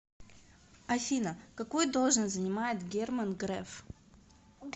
афина какую должность занимает герман греф